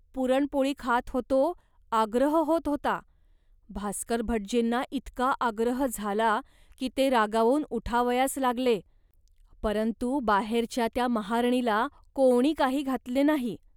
पुरणपोळी खात होतो, आग्रह होत होता, भास्करभटजींना इतका आग्रह झाला, की ते रागावून उठावयास लागले. परंतु बाहेरच्या त्या महारणीला कोणी काही घातले नाही